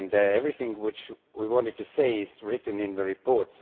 Everything we wanted to say is written in the report.